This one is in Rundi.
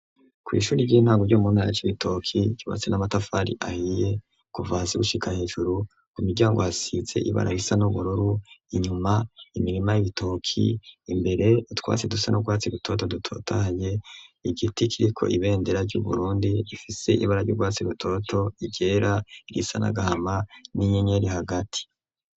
Kw'ishuri ry'intango ryo mu ntara ya Cibitoki, ryubatse n'amatafari ahiye kuva hasi gushika hejuru, ku miryango hasize ibara ry'ubururu, inyuma imirima y'ibitoki, imbere utwatsi dusa n'urwatsi rutoto dutotahaye, igiti kiriko iberendera ry'Uburundi gifise ibara ry'urwatsi rutoto, iryera, irisa n'agahama n'inyenyeri hagati.